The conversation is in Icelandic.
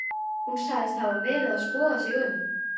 Hún sagðist hafa verið að skoða sig um.